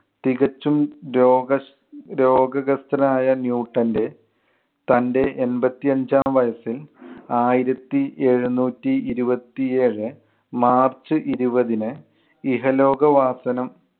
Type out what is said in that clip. തികച്ചും രോഗ~ രോഗഘസ്ഥനായ ന്യൂട്ടന്‍റെ തന്‍റെ എൺപത്തി അഞ്ചാം വയസ്സിൽ ആയിരത്തി എഴുന്നൂറ്റി ഇരുപത്തി ഏഴ് മാർച്ച് ഇരുപതിന് ഇഹലോകവാസനം